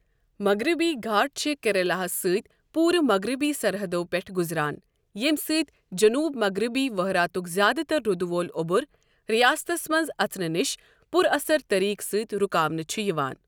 مغربی گھاٹ چھِ کیریلا ہَس سۭتۍ پورٕ مغربی سرحدو پٮ۪ٹھ گزران ییٚمہ سۭتۍ جنوب مغربی وَہراتک زیادٕ تر روٗدٕ وول اوٚبر ریاستس منٛز اژنہٕ نِش پُر اثر طریقہٕ سۭتۍ رُکاونہ چھُ یِوان۔